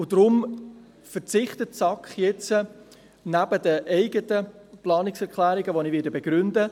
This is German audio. Deshalb verzichtet die SAK darauf, zu den anderen Planungserklärungen Stellung zu beziehen.